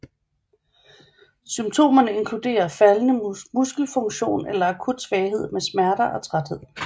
Symptomerne inkluderer faldende muskelfunktion eller akut svaghed med smerter og træthed